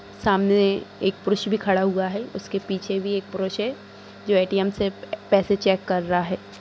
सामने एक पुरुष भी खड़ा हुआ है उसके पीछे भी एक पुरुष है जो ए_टी_एम से पैसे चैक कर रहा है।